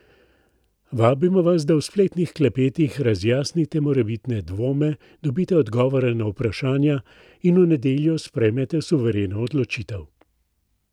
Vabimo vas, da v spletnih klepetih razjasnite morebitne dvome, dobite odgovore na vprašanja in v nedeljo sprejmete suvereno odločitev.